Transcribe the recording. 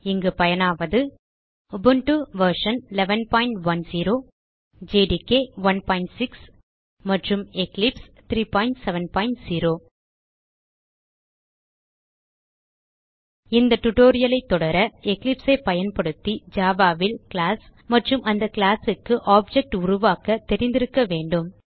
இங்கு பயனாவது Ubuntu version 1110 JDK 16 மற்றும் எக்லிப்ஸ் 370 இந்த டியூட்டோரியல் ஐ தொடர எக்லிப்ஸ் ஐ பயன்படுத்தி ஜாவா ல் கிளாஸ் மற்றும் அந்த கிளாஸ் க்கு ஆப்ஜெக்ட் உருவாக்க தெரிந்திருக்க வேண்டும்